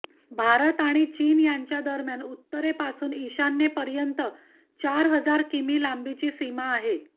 भारत आणि चीन यांच्या दरम्यान उत्तरेपासून ईशान्येपर्यंत चार हजार किमी लांबीची सीमा आहे